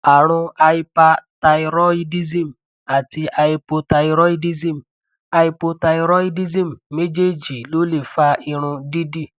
àrùn hyperthyroidism àti hypothyroidism hypothyroidism méjèèjì ló lè fa irun dídì